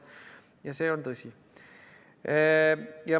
Ja see on tõsi.